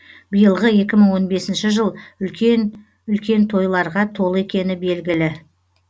биылғы екі мың он бесінші жыл үлкен үлкен тойларға толы екені белгілі